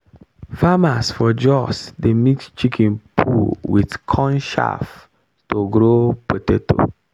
farmers for jos dey mix chicken poo with corn chaff to grow potato.